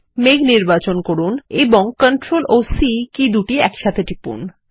মেঘ নির্বাচন করুন এবং CTRL ও C কী দুটি একসাথে টিপুন